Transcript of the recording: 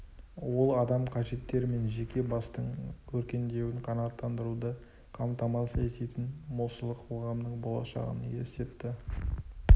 ол адам қажеттері мен жеке бастың өркендеуін қанағаттандыруды қамтамасыз ететін молшылық қоғамның болашағын елестетті